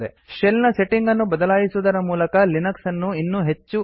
shell ನ setting ಅನ್ನು ಬದಲಾಯಿಸುವುದರ ಮೂಲಕ ಲಿನಕ್ಸ್ ಅನ್ನು ಇನ್ನೂ ಹೆಚ್ಚು ಕಸ್ಟಮೈಸ್ ಮಾಡಬಹುದು